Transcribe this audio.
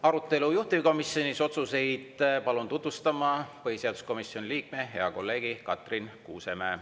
Arutelu juhtivkomisjonis, otsuseid palun tutvustama põhiseaduskomisjoni liikme, hea kolleegi Katrin Kuusemäe.